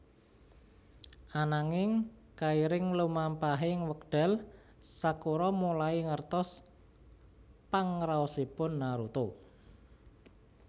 Ananging kairing lumampahing wekdal Sakura mulai ngertos pangraosipun Naruto